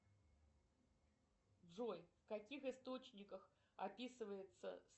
джой в каких источниках описывается